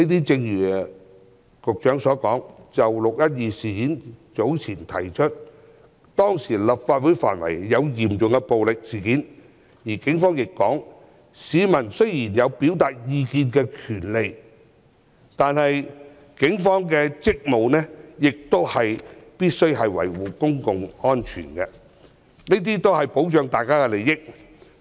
正如局長所說，"六一二"事件中，立法會範圍發生嚴重暴力事件，市民雖然有表達意見的權利，但警方的職務是維護公共安全，保障大家的利益。